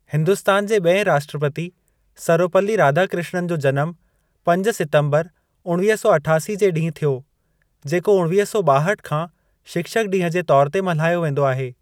हिंदुस्‍तान जे बि॒एं राष्‍ट्रपति, सर्वपल्‍ली राधाकृष्‍णन जो जनम पंज सितंबर उणिवीह सौ अठासी जे ॾींहुं थियो जेको उणिवीह सौ ॿाहठ खां शिक्षक ॾींहुं जे तौर ते मल्हायो वेंदो आहे।